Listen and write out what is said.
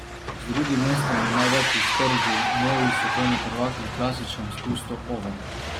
Z drugim mestom je največ iztržil novi svetovni prvak v klasičnem spustu Oven.